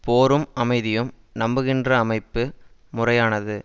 போரும் அமைதியும் நம்புகின்ற அமைப்பு முறையானது